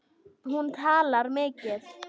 Hún talar mikið.